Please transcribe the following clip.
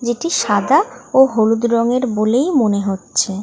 যেটি সাদা ও হলুদ রঙের বলেই মনে হচ্ছে।